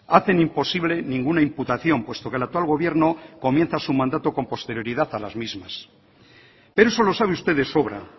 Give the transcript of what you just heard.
hacen imposible ninguna imputación puesto que el actual gobierno comienza su mandato con posterioridad a las mismas pero eso lo sabe usted de sobra